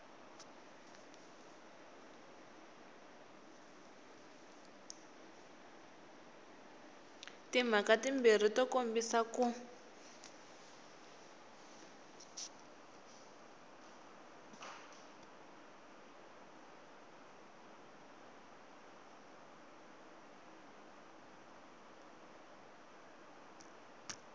timhaka timbirhi to kombisa ku